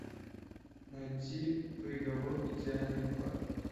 найти приговор идеальной пары